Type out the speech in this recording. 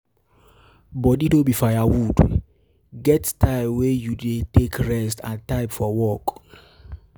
Body no be fire wood, get get time wey you dey take rest and time for work